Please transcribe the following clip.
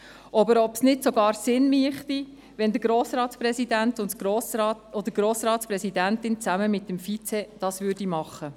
Und ob es nicht sogar sinnvoll wäre, wenn der Grossratspräsident oder die Grossratspräsidentin dies zusammen mit dem Vize machen würden.